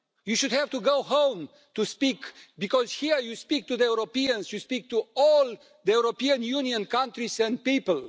You should have to go home to speak, because here you speak to the Europeans, you speak to all the European Union countries and people.